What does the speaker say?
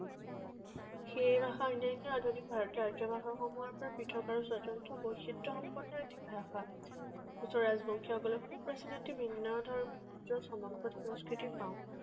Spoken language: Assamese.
সেই ভাষা অন্যান্য আধুনিক ভাৰতীয় ৰাজ্য ভাষাসমূহৰ পৰা পৃথক আৰু স্বতন্ত্ৰ বৈচিত্ৰসম্পন্ন এটি ভাষা। কোচ ৰাজবংশীসকলৰ ভিন্নধৰ্মী উজ্জ্বল, চমকপ্ৰদ সংস্কৃতিৰ পাওঁ।